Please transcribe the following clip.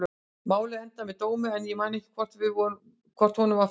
Málið endaði með dómi en ég man ekki hvort honum var fullnægt.